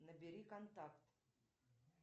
набери контакт